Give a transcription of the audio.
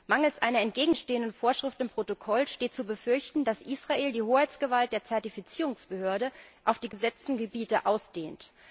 Mangels einer entgegenstehenden Vorschrift im Protokoll steht zu befürchten, dass Israel die Hoheitsgewalt der Zertifizierungsbehörde auf die besetzten Gebiete ausdehnt.